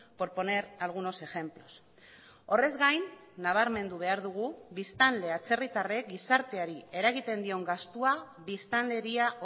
por poner algunos ejemplos horrez gain nabarmendu behar dugu biztanle atzerritarrek gizarteari eragiten dion gastua biztanleria